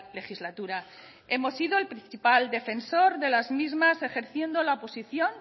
legislatura hemos sido el principal defensor de las mismas ejerciendo la oposición